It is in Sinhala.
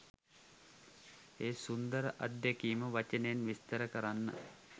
ඒ සුන්දර අත්දැකීම වචනයෙන් විස්තර කරන්න